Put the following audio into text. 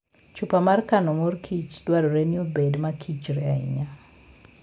Chupa mar kano mor kich dwarore ni obed maKichr ahinya.